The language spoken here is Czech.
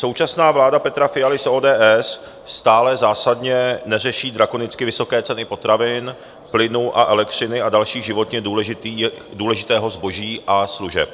Současná vláda Petra Fialy z ODS stále zásadně neřeší drakonicky vysoké ceny potravin, plynu a elektřiny a dalšího životně důležitého zboží a služeb.